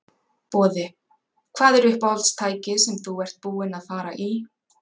Boði: Hvað er uppáhalds tækið sem þú ert búinn að fara í?